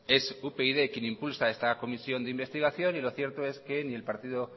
es upyd quien impulsa esta comisión de investigación y lo cierto es que ni el partido